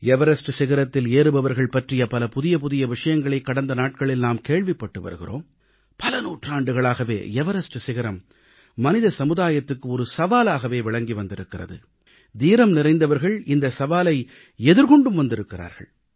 Everest சிகரத்தில் ஏறுபவர்கள் பற்றிய பல புதிய புதிய விஷயங்களை கடந்த நாட்களில் நாம் கேள்விப்பட்டு வருகிறோம் பல நூற்றாண்டுகளாகவே எவரஸ்ட் சிகரம் மனித சமுதாயத்துக்கு ஒரு சவாலாகவே விளங்கி வந்திருக்கிறது தீரம்நிறைந்தவர்கள் இந்த சவாலை எதிர்கொண்டும் வந்திருக்கிறார்கள்